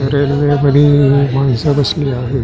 रेल्वेमधि ही माणस बसलेली आहे.